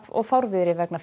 og fárviðri vegna